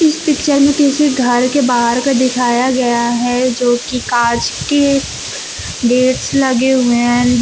इस पिक्चर में किसी घर के बाहर का दिखाया गया है जोकि कांच के गेट्स लगे हुए हैं ।